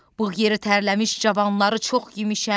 Bığ yeri tərləmiş cavanları çox yemişəm.